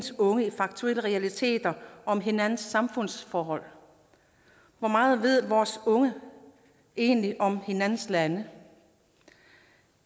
unge i faktuelle realiteter om hinandens samfundsforhold hvor meget ved vores unge egentlig om hinandens lande